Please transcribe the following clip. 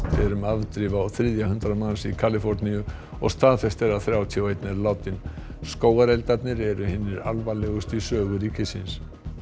er um afdrif á þriðja hundrað manns í Kaliforníu og staðfest er að þrjátíu og einn er látinn skógareldarnir eru hinir alvarlegustu í sögu ríkisins